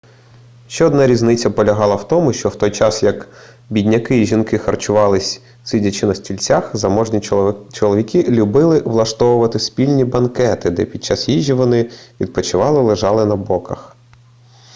ще одна різниця полягала в тому що в той час як бідняки і жінки харчувались сидячи на стільцях заможні чоловіки любили влаштовувати спільні банкети де під час їжі вони відпочивали лежачи на боках